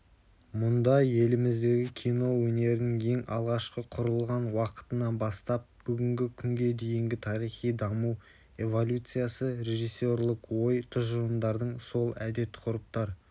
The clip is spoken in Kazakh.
мұнда еліміздегі кино өнерінің ең алғашқы құрылған уақытынан бастап бүгінгі күнге дейінгі тарихи даму эволюциясы режиссерлік ой-тұжырымдардың сол әдет-ғұрыптар